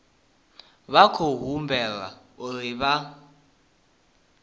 vha khou humbelwa uri vha